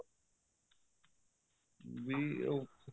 ਵੀ ਉਹ